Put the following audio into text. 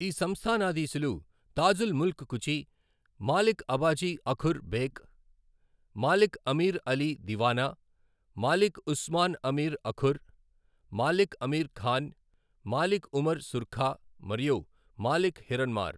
ఈ సంస్థానాధీశులు తాజుల్ ముల్క్ కుచి, మాలిక్ అబాజి అఖుర్ బెక్, మాలిక్ అమీర్ అలీ దివానా, మాలిక్ ఉస్మాన్ అమీర్ అఖుర్, మాలిక్ అమీర్ ఖాన్, మాలిక్ ఉమర్ సుర్ఖా మరియు మాలిక్ హిరన్మార్.